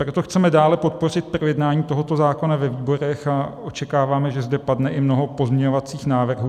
Proto chceme dále podpořit projednání tohoto zákona ve výborech a očekáváme, že zde padne i mnoho pozměňovacích návrhů.